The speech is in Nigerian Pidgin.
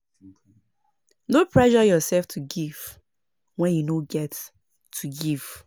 Before you donate think wella if di donation go really help di pipo wey dey ask for donation